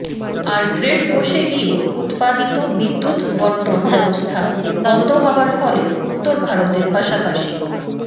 আর grid বসে গিয়ে উত্পাদিত বিদ্যুত্ বণ্টন ব্যবস্থা বন্ধ হওয়ার ফলে উত্তর ভারতের পাশাপাশি